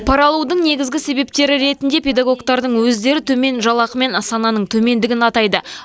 пара алудың негізгі себептері ретінде педагоктарың өздері төмен жалақы мен сананың төмендігін атайды